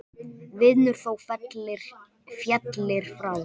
Vinur þó féllir frá.